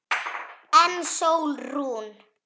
En Sólrún?